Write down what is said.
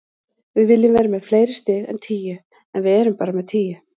Við viljum vera með fleiri stig en tíu, en við erum bara með tíu.